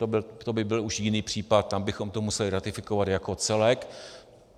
To by byl už jiný případ, tam bychom to museli ratifikovat jako celek.